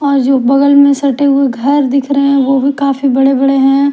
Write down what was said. और जो बगल में सटे हुए घर दिख रहे हैं वो भी काफी बड़े-बड़े हैं।